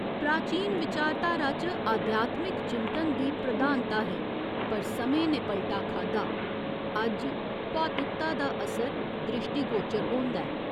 प्राचीन विचारधारा च आध्यात्मिक चिंतन दी प्रधानता ही पर समें ने पलटा खाद्धा अज्ज भौतिकता दा असर द्रिश्टीगोचर होंदा ऐ।